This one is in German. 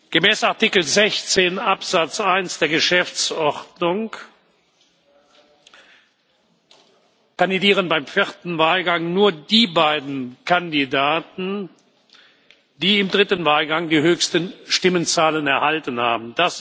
Gemäß Artikel 16 Absatz 1 der Geschäftsordnung kandidieren beim vierten Wahlgang nur die beiden Kandidaten, die im dritten Wahlgang die höchsten Stimmenzahlen erhalten haben.